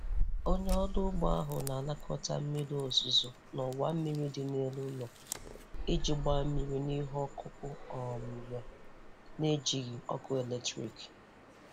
Onye ọrụ ugbo ahụ na-anakọta mmiri ozuzo n'ọwa mmiri dị n'elu ụlọ iji gbaa mmiri n'ihe ọkụkụ um ya, n'ejighị ọkụ eletrik.